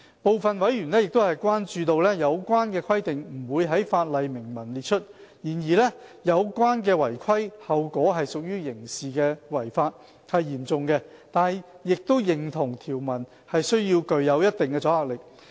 部分委員關注到，有關的規定不會在法例明文列出；然而，有關違規後果屬刑事違法，是嚴重的，但亦認同條文需具一定阻嚇力。